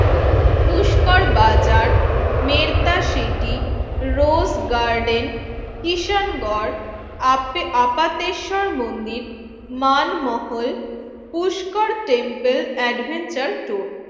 পুষ্কর বাজার, মের্টা সিটি, রোজ গার্ডেন, ঈশান গড়, আপাতে আপাতেশ্বর মন্দির, Manmahal, Pushkar temple, adventure tour